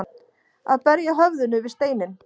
Að berja höfðinu við steininn